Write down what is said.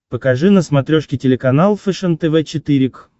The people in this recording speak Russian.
покажи на смотрешке телеканал фэшен тв четыре к